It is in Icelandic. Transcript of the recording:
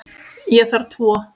Ég þarf tvo.